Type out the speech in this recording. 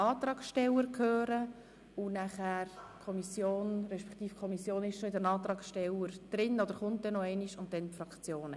Es klingt nach viel, um es in einem Votum zu behandeln.